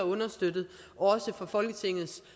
understøttet også fra folketingets